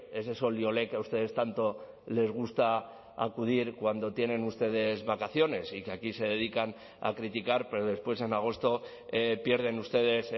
ese sol y olé que a ustedes tanto les gusta acudir cuando tienen ustedes vacaciones y que aquí se dedican a criticar pero después en agosto pierden ustedes